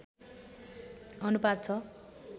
अनुपात छ